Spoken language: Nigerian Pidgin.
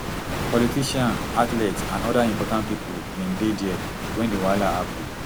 politicians athletes and oda important pipo bin dey dia wen di wahala happun